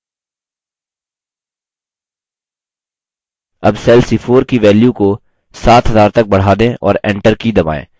अब cell c4 की value की 7000 तक बढ़ा दें और enter की दबाएँ